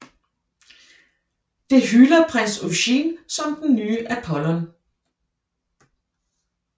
Det hylder prins Eugene som den nye Apollon